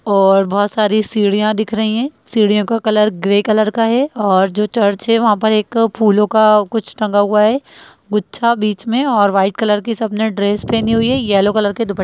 और बहुत सारी सीढ़ियां दिख रही है सीढ़ियों का कलर ग्रे कलर का है और जो चर्च है वहां पर एक फूलो का कुछ टंगा हुआ है गुच्छा बीच में और व्हाइट कलर की सबने ड्रेस पहनी हुई है येल्लो कलर के दूप --